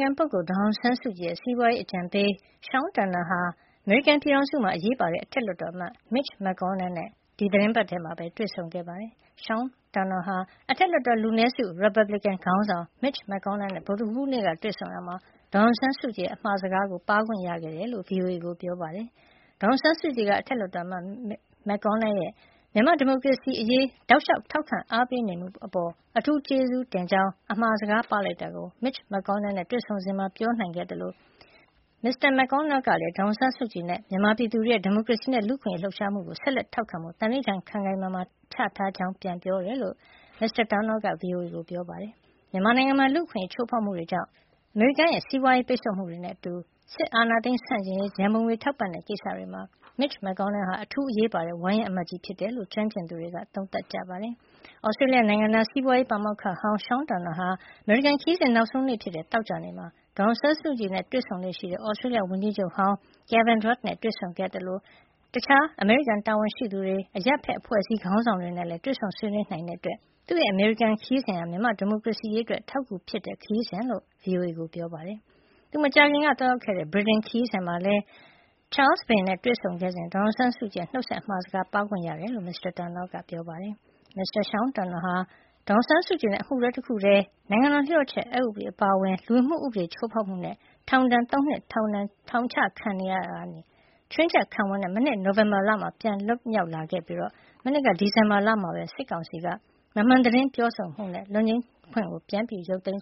ခံပုဂ္ဂိုလ် ဒေါ်အောင်ဆန်းစုကြည်ရဲ့ စီးပွားရေးအကြံပေး Sean Turnell ဟာ အမေရိကန်ပြည်ထောင်စုမှာ အရေးပါတဲ့ အထက်လွှတ်တော်အမတ် Mitch McConell နဲ့ ဒီသီတင်းပတ်ထဲ တွေ့ဆုံခဲ့ပါတယ်။ Sean Turnell က အထက်လွှတ်တော် လူနည်းစု ရီပတ်ဘလစ်ကင် ခေါင်းဆောင် Mitch McConnell နဲ့ ဗုဒ္ဓဟူးနေ့က တွေ့ဆုံရာမှာ ဒေါ်အောင်ဆန်းစုကြည်ရဲ့ အမှာစကားကို ပါးခွင့်ရခဲ့တယ်လို့ VOA ကို ပြောပါတယ်။ ဒေါ်အောင်ဆန်းစုကြည်က အထက်လွှတ်တော်အမတ် Mitch McConnell ရဲ့ မြန်မာ့ဒီမိုကရေစီအရေး တောက်လျှောက် ထောက်ခံအားပေးနေမှုအပေါ် အထူးကျေးဇူးတင်ကြောင်း အမှာစကားပါးလိုက်တာကို Mitch McConnell နဲ့ တွေ့ဆုံစဉ်မှာ ပြောနိုင်ခဲ့တယ်လို့ အကြံပေး Turnell က ပြောပြတာပါ။ အထက်လွှတ်တော်အမတ် Mitch McConnell ကလည်း ဒေါ်အောင်ဆန်းစုကြည်နဲ့ မြန်မာပြည်သူတွေရဲ့ ဒီမိုကရေစီနဲ့လူ့အခွင့်အရေး လှုပ်ရှားမှုကို ဆက်လက်ထောက်ခံဖို့ သန္နိဌာန် ခိုင်ခိုင်မာမာ ချထားတယ်လို့ ပြန်ပြောပါတယ်လို့ Mr. Turnell က VOA ကိုပြောပါတယ်။ မြန်မာနိုင်ငံမှာ လူ့အခွင့်အရေးချိုးဖောက်မှုတွေကြောင့် အမေရိကန်ရဲ့ စီးပွားရေးပိတ်ဆို့မှုတွေနဲ့အတူ စစ်အာဏာသိမ်း ဆန့်ကျင်ရေး ရန်ပုံငွေ ထောက်ပံ့တဲ့ကိစ္စတွေမှာ Mitch McConnell ဟာ အထူးအရေးပါတဲ့ ဝါရင့်အမတ်ကြီးဖြစ်တယ်လို့ ကျွမ်းကျင်သူတွေက သုံးသပ်ကြပါတယ်။ သြစတျေးလျနိုင်ငံသား စီးပွားရေး ပါမောက္ခဟောင်း Sean Turnell အနေနဲ့ အမေရိကန်ခရီးစဉ် နောက်ဆုံးနေ့ဖြစ်တဲ့ သောကြာနေ့မှာလည်း ဒေါ်အောင်ဆန်းစုကြည်နဲ့ တွေ့လေ့ရှိတဲ့ သြစတျေးလျ ဝန်ကြီးချုပ်ဟောင်း Kevin Rudd နဲ့တွေ့ဆုံခဲ့ပါသေးတယ်။ ဒါ့အပြင် Mr. Sean Turnell ဟာ တခြား အမေရိကန်တာဝန်ရှိတွေ၊ အရပ်ဖက်အဖွဲ့အစည်း ခေါင်းဆောင်တွေနဲ့လည်း တွေ့ဆုံဆွေးနွေးနိုင်ခဲ့တဲ့အတွက် သူ့ရဲ့အမေရိကန်ခရီးစဉ်ဟာ၊ မြန်မာ့ဒီမိုကရေစီအရေးအတွက် အထောက်အကူဖြစ်တဲ့ ခရီးစဉ်ဖြစ်ပါတယ်လို့ VOA ကိုပြောတယ်။ သူ မကြာခင်က သွားရောက်ခဲ့တဲ့ ဗြိတိန်ခရီးစဉ်မှာလည်း ချားလ်စ်ဘုရင်နဲ့ တွေ့ဆုံခဲ့စဉ် ဒေါ်အောင်ဆန်းစုကြည်ရဲ့ နှုတ်ဆက်အမှာစကားကို ပါးခွင့်ရခဲ့တယ်လို့ Sean Turnell က ပြောပြပါသေးတယ်။ Mr. Sean Turnell ဟာ ဒေါ်အောင်ဆန်းစုကြည်နဲ့ အမှုတွဲတခုတည်း နိုင်ငံတော်လျှို့ဝှက်ချက်ဥပဒေ အပါအဝင်နဲ့ လူဝင်မှုဥပဒေ ချိုးဖေါက်မှုနဲ့ ထောင်ဒဏ် ၃ နှစ် ထောင်ချခံခဲ့ရာက ချွင်းချက်ခံဝန်နဲ့ မနှစ် နိုဝင်ဘာလက ပြန်လွတ်လာခဲ့ပြီး၊ မနှစ်က ဒီဇင်ဘာလမှာ စစ်ကောင်စီက မမှန်သတင်းပြောဆိုမှုနဲ့ လွတ်ငြိမ်းခွင့် ပြန်လည် ရုပ်သိမ်း